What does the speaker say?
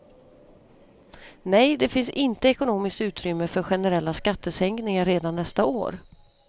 Nej, det finns inte ekonomiskt utrymme för generella skattesänkningar redan nästa år.